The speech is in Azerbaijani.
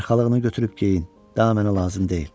Arxalığını götürüb geyin, daha mənə lazım deyil.